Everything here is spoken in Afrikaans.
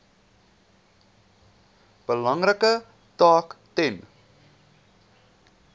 belangrike taak ten